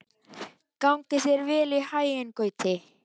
Gangi þér allt í haginn, Gauti.